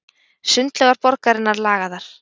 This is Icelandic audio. Sundlaugar borgarinnar lagaðar